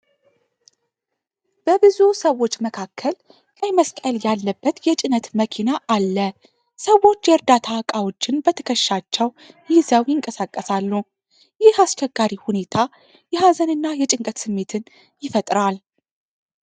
በብዙ ሰዎች መካከል ቀይ መስቀል ያለበት የጭነት መኪና አለ። ሰዎች የእርዳታ እቃዎችን በትከሻቸው ይዘው ይንቀሳቀሳሉ። ይህ አስቸጋሪ ሁኔታ የሀዘንና የጭንቀት ስሜትን ይፈጥራል።